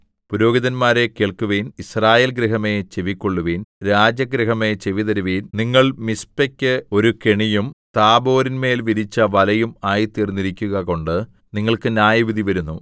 പുരോഹിതന്മാരേ കേൾക്കുവിൻ യിസ്രായേൽ ഗൃഹമേ ചെവിക്കൊള്ളുവിൻ രാജഗൃഹമേ ചെവിതരുവിൻ നിങ്ങൾ മിസ്പയ്ക്ക് ഒരു കെണിയും താബോരിന്മേൽ വിരിച്ച വലയും ആയിത്തീർന്നിരിക്കുകകൊണ്ട് നിങ്ങൾക്ക് ന്യായവിധി വരുന്നു